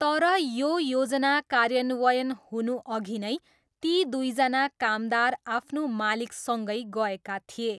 तर, यो योजना कार्यान्वयन हुनुअघि नै ती दुईजना कामदार आफ्नो मालिकसँगै गएका थिए।